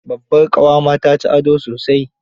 Babbar ƙawa ma ta ci ado sosai.